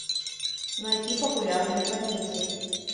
найти популярные комедии